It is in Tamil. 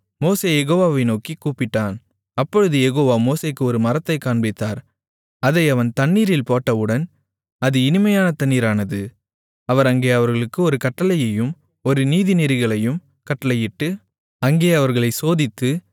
மோசே யெகோவாவை நோக்கிக் கூப்பிட்டான் அப்பொழுது யெகோவா மோசேக்கு ஒரு மரத்தைக் காண்பித்தார் அதை அவன் தண்ணீரில் போட்டவுடன் அது இனிமையான தண்ணீரானது அவர் அங்கே அவர்களுக்கு ஒரு கட்டளையையும் ஒரு நீதிநெறிகளையும் கட்டளையிட்டு அங்கே அவர்களைச் சோதித்து